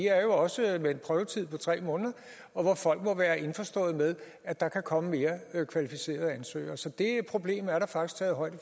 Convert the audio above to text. er jo også med en prøvetid på tre måneder hvor folk må være indforstået med at der kan komme mere kvalificerede ansøgere så det problem er der faktisk taget højde